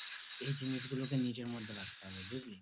এই জিনিসগুলো কে নিজের মধ্যে রাখতে হবে বুঝলি?